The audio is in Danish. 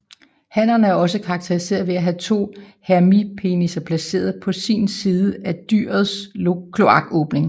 Hannerne er også karakteristiske ved have to hemipenisser placeret på sin side af dyrets kloakåbning